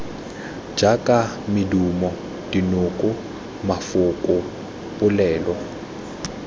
jaaka medumo dinoko mafoko polelo